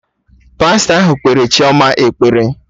Pastọ ahụ kpere Chioma ekpere